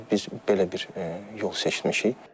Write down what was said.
Biz belə bir yol seçmişik.